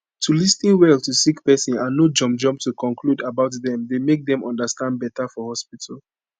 to lis ten well to sick pesin and no jump jump to conclude about dem dey make dem understand beta for hospitu